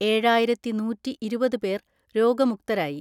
ഏഴായിരത്തിനൂറ്റിഇരുപത് പേർ രോഗമുക്തരായി.